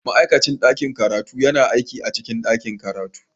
Ma'aikacin ɗakin karatu yana aiki a cikin ɗakin karatu